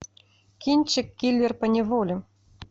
кинчик киллер поневоле